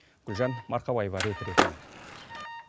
гүлжан марқабаева рет ретімен